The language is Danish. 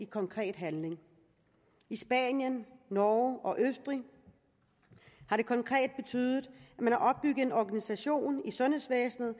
konkret handling i spanien norge og østrig har det konkret betydet at en organisation i sundhedsvæsenet